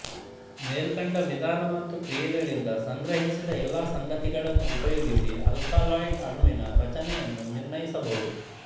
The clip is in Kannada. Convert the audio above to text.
ಮೇಲ್ಕಂಡ ವಿಧಾನ ಮತ್ತು ಕ್ರಿಯೆಗಳಿಂದ ಸಂಗ್ರಹಿಸಿದ ಎಲ್ಲ ಸಂಗತಿಗಳನ್ನೂ ಉಪಯೋಗಿಸಿ ಆಲ್ಕಲಾಯ್ಡ್ ಅಣುವಿನ ರಚನೆಯನ್ನು ನಿರ್ಣಯಿಸಬಹುದು